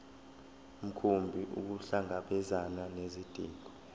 mkhumbi ukuhlangabezana nezidingo